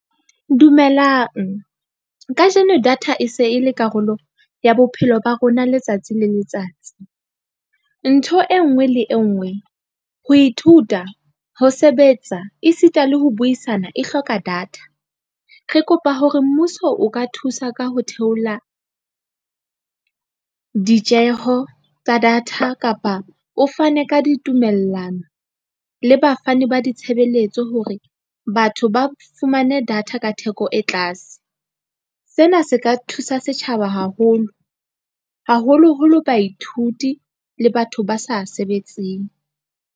Dumelang kajeno data e se e le karolo ya bophelo ba rona letsatsi le letsatsi. Ntho e nngwe le e nngwe, ho ithuta, ho sebetsa esita le ho buisana e hloka data. Re kopa hore mmuso o ka thusa ka ho theola ditjeho tsa data kapa o fane ka ditumellano le bafani ba ditshebeletso hore batho ba fumane data ka theko e tlase. Sena se ka thusa setjhaba haholo, haholoholo baithuti le batho ba sa sebetseng.